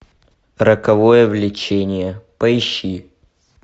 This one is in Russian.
роковое влечение поищи